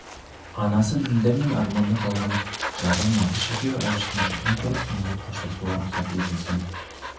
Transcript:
анасы ділдә мен арманда қалған жары мағыш екеуі әбіштің жүзін көріп соңғы рет қоштасуға рұқсат етілсін